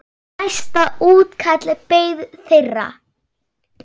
Næsta útkall beið þeirra.